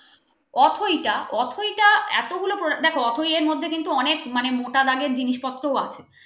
অথইটা অথইটা এতগুলো দেখো অথয়ের মধ্যে কিন্তু অনেক মোটা থেকে জিনিসপত্র আছে ।